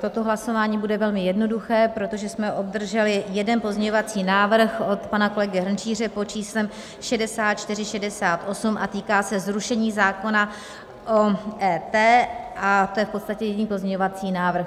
toto hlasování bude velmi jednoduché, protože jsme obdrželi jeden pozměňovací návrh od pana kolegy Hrnčíře pod číslem 6468 a týká se zrušení zákona o EET, a to je v podstatě jediný pozměňovací návrh.